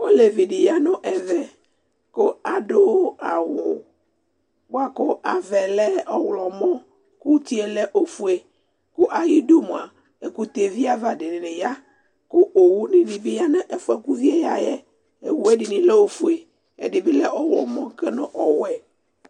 olevi di ya no ɛvɛ ko ado awu boa ko avaɛ lɛ ɔwlɔmɔ ko utie lɛ ofue ko ayidu moa ɛkotɛ vi ava di ni ya ko owu di ni bi ya no ɛfoɛ ko uvie ya yɛ owue ɛdini lɛ ofue ɛdi bi lɛ ɔwlɔmɔ no ɔwɛ